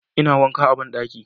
ina wanka a banɗaki